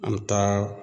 An bɛ taa